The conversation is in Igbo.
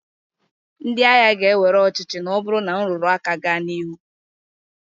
Ndị agha ga- ewere ọchịchị na ọ bụrụ na nrụrụ aka gaa n'ihu.